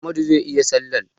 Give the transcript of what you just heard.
Amadu zai yi salla.